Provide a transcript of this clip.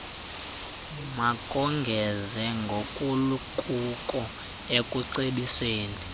makongeze ngokukuko ekucebiseni